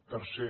tercer